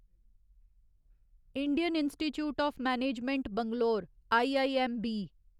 Indian institute of management Bangalore IIMB